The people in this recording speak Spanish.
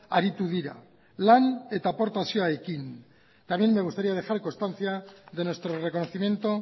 aritu dira lan eta aportazioekin también me gustaría dejar constancia de nuestro reconocimiento